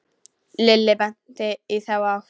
Lilli benti í þá átt.